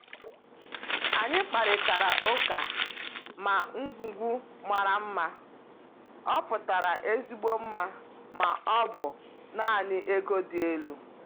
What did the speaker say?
Anyị kparịtara ụka ma ngwugwu mara mma ọ pụtara ezigbo mma ma ọ bụ naanị ego dị elu.